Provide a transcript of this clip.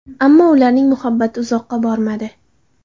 Ammo ularning muhabbati uzoqqa bormadi.